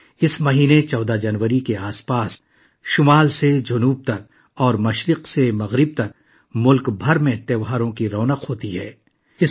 اس مہینے، 14 جنوری کے آس پاس، شمال سے جنوب اور مشرق سے مغرب تک پورے ملک میں تہواروں کی رونق چھائی رہی